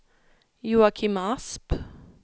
Joakim Asp